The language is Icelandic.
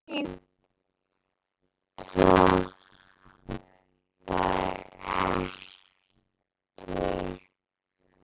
Síminn stoppar ekki.